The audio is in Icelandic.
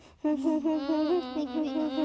hún